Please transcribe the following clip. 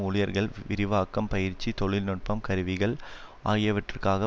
ஊழியர்கள் விரிவாக்கம் பயிற்சி தொழில்நுட்பம் கருவிகள் ஆகியவற்றுக்காக